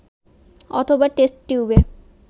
অথবা টেস্ট টিউবে